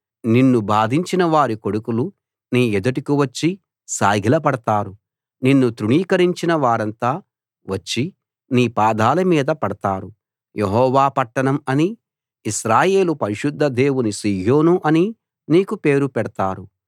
నిన్ను బాధించినవారి కొడుకులు నీ ఎదుటికి వచ్చి సాగిలపడతారు నిన్ను తృణీకరించినవారంతా వచ్చి నీ పాదాల మీద పడతారు యెహోవా పట్టణం అనీ ఇశ్రాయేలు పరిశుద్ధ దేవుని సీయోను అనీ నీకు పేరు పెడతారు